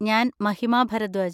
ഞാൻ മഹിമ ഭരദ്വാജ്.